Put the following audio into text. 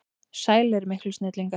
Sælir miklu snillingar!